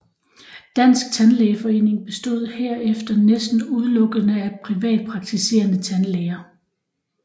Dansk Tandlægeforening bestod herefter næsten udelukkende af privatpraktiserende tandlæger